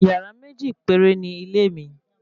Yàrá méjì péré ni ilé mi